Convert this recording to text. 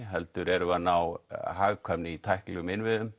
heldur erum við að ná hagkvæmni í tæknilegum innviðum